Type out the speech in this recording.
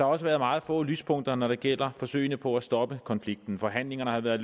også været meget få lyspunkter når det gælder forsøgene på at stoppe konflikten forhandlingerne har været